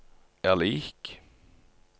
er lik